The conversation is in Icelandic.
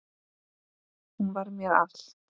Hún var mér allt.